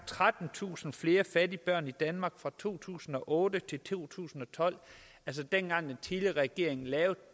trettentusind flere fattige børn i danmark fra to tusind og otte til to tusind og tolv altså dengang den tidligere regering lavede